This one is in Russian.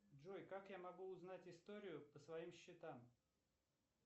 джой как я могу узнать историю по своим счетам